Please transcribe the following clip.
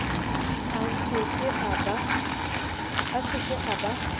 a se ke a ba